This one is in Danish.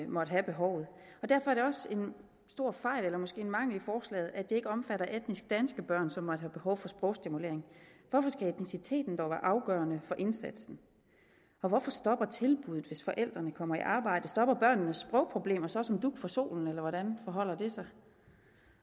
måtte have behovet og derfor er det også en stor fejl eller måske en mangel i forslaget at det ikke omfatter etnisk danske børn som måtte have behov for sprogstimulering hvorfor skal etnicitet dog være afgørende for indsatsen og hvorfor stopper tilbuddet hvis forældrene kommer i arbejde stopper børnenes sprogproblemer så som dug for solen eller hvordan forholder det sig